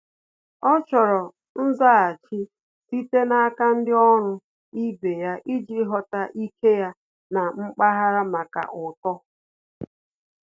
Ọ́ chọ́rọ́ nzaghachi site n’áká ndị ọ́rụ́ ibe ya iji ghọ́tá ike ya na mpaghara màkà uto.